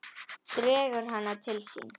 Dregur hana til sín.